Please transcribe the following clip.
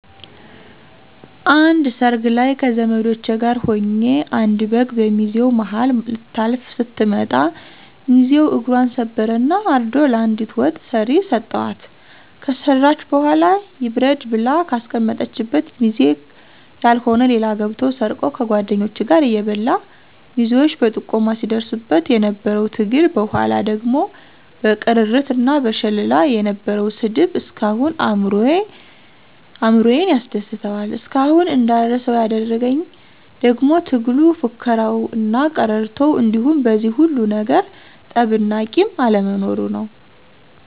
አንድ ሰርግ ላይ ከዘመዶቸ ጋር ሁኘ አንድ በግ በሚዜው ማሀል ልታልፍ ስትመጣ ሚዚው እግፘን ሰበረ እና አርዶ ለአንዲት ወጥ ሰሪ ሰተዋት ከሰራች በኋላ ይብረድ ብላ ከአስቀመጠችበት ሚዜ ያልሆነ ሌባ ገብቶ ሰርቆ ከጓድኞቹ ጋር እየበላ ሚዜዎች በጥቆማ ሲድርሱበት የነበረው ትግል በኋላ ደግሞ በቅርርት እና በሽለላ የነበረው ስድብ እስካሁን አእምሮየን ያስደስተዋል። እስካሁን እንዳረሳው ያደረግኝ ደግሞ ትግሉ፣ ፉከራው እና ቅርርቶው እንዲሁም በዚህ ሁሉ ነገር ጠብ እና ቂም አለመኖሩ ነው።